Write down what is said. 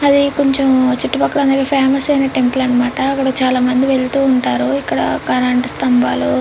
అది కొంచెం చుట్టు పక్కల ఫెమస్ ఐన టెంపుల్ అనమాటా అక్కడ చాలా మంది వెళ్తూ ఉంటారు ఇక్కడ కరెంటు స్థంబాలు --